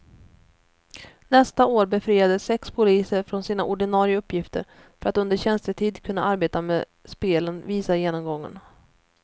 Nästa år befriades sex poliser från sina ordinarie uppgifter för att under tjänstetid kunna arbeta med spelen, visar genomgången.